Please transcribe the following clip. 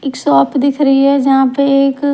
एक शॉप दिख रही है जहां पे एक--